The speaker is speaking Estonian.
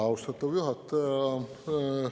Austatud juhataja!